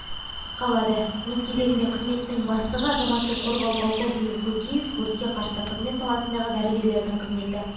қалады өз кезегінде қызметтің бастығы азаматтық қорғау полковнигі көкеев өртке қарсы қызмет саласындағы дәрігерлердің қызметі